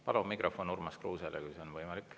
Palun mikrofon Urmas Kruusele, kui see on võimalik.